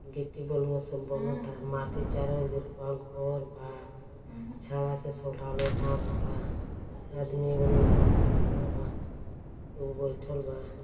गिट्टी बलुआ सब बनता। माटी चारों ओर गिरल बा। घर बा। छड़ा से बास बा। आदमी एगो निहुरल बा खड़ा बा एगो बइठल बा।